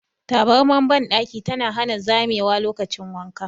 Tabarmar bandaki tana hana zamewa lokacin wanka.